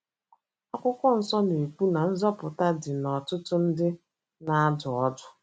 Akwụkwọ nsọ na - ekwu na nzọpụta dị n’ọtụtụ ndị na - adụ ọdụ.